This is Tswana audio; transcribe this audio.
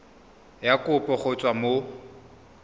ya kopo go tswa mo